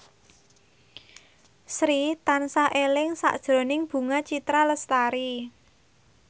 Sri tansah eling sakjroning Bunga Citra Lestari